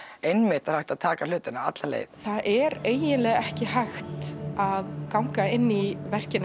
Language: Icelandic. einmitt er hægt að taka hlutina alla leið það er eiginlega ekki hægt að ganga inn í verkin